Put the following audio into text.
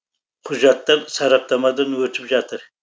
құжаттар сараптамадан өтіп жатыр